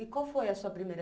E qual foi a sua primeira?